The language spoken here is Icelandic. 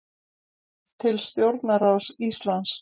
Til stjórnarráðs Íslands